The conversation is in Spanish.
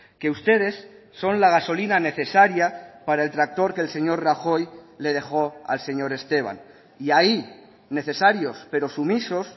que ustedes son la gasolina necesaria para el tractor que el señor rajoy le dejo al señor esteban y ahí necesarios pero sumisos